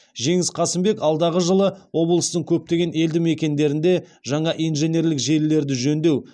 жеңіс қасымбек алдағы жылы облыстың көптеген елді мекендерінде жаңа инженерлік желілерді жөндеу